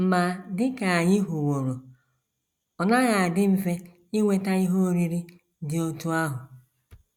Ma dị ka anyị hụworo, ọ naghị adị mfe inweta ihe oriri dị otú ahụ.